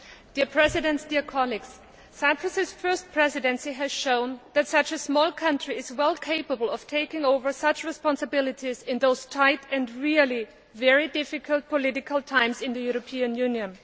Madam President, Cyprus's first Presidency has shown that such a small country is well capable of taking over such responsibilities in these tight and really very difficult political times in the European Union.